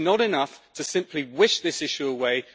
It is not enough to simply wish this issue away.